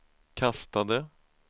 kastade